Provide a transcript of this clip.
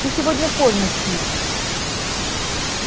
ты сегодня поздно стив